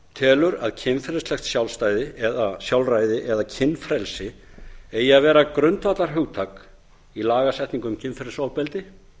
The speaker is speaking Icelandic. telur að kynferðislegt sjálfræði eða kynfrelsi eigi að vera grundvallarhugtak í lagasetningu um kynferðisofbeldi